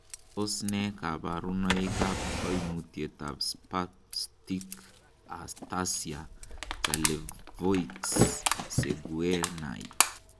Tos nee koborunoikab koimutietab Spastic ataxia Charlevoix Saguenay ?